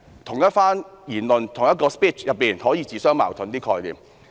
同一番言論，同一個 speech 中，其概念可以自相矛盾。